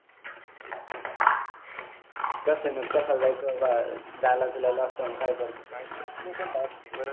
Casino ला कशाला जायचं? झाला बिला असता ना काय पण बरंचं